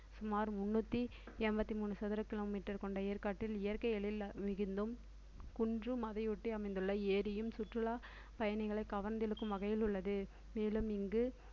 சுமார் முந்நூத்தி எண்பத்தி மூணு சதுர kilometer கொண்ட ஏற்காட்டில் இயற்கை எழில் மிகுந்தும் குன்றும் அதையொட்டி அமைந்துள்ள ஏரியும் சுற்றுலாப் பயணிகளை கவர்ந்திழுக்கும் வகையில் உள்ளது மேலும் இங்கு